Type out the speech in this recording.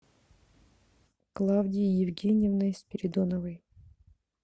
клавдией евгеньевной спиридоновой